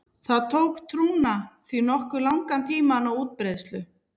Það tók trúna því nokkuð langan tíma að ná útbreiðslu.